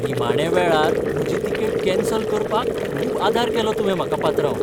निमाण्या वेळार म्हजी टिकेट कॅन्सल करपाक खूब आदार केलो तुवें म्हाका, पात्रांव.